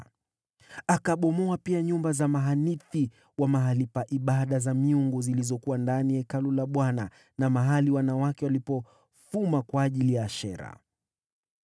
Akabomoa pia nyumba za mahanithi wa mahali pa ibada za miungu, zilizokuwa ndani ya Hekalu la Bwana na mahali wanawake walipofuma kwa ajili ya Ashera.